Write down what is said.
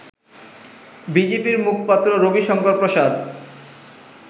বিজেপির মুখপাত্র রবিশংকর প্রসাদ